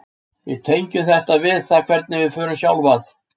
við tengjum þetta við það hvernig við sjálf förum að